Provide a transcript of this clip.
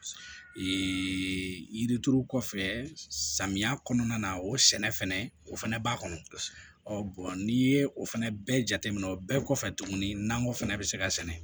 yirituru kɔfɛ samiya kɔnɔna na o sɛnɛ fɛnɛ o fɛnɛ b'a kɔnɔ ɔ n'i ye o fɛnɛ bɛɛ jateminɛ o bɛɛ kɔfɛ tuguni nakɔ fɛnɛ be se ka sɛnɛ